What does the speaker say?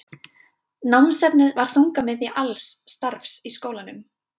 Námsefnið var þungamiðja alls starfs í skólanum.